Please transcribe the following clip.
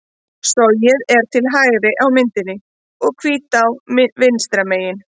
Sogið er til hægri á myndinni og Hvítá vinstra megin.